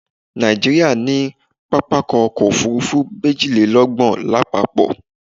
Nàìjíríà ní pápákọ̀ ọ̀kọ òfurufú méjìlélọ́gbọ̀n lápapọ̀